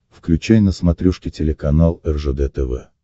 включай на смотрешке телеканал ржд тв